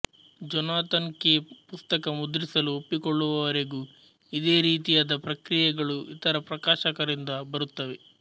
Jonathan Cape ಪುಸ್ತಕ ಮುದ್ರಿಸಲು ಒಪ್ಪಿಕೊಳ್ಳುವವರೆಗೂ ಇದೇ ರೀತಿಯಾದ ಪ್ರತಿಕ್ರಿಯೆಗಳು ಇತರ ಪ್ರಕಾಶಕರಿಂದ ಬರುತ್ತವೆ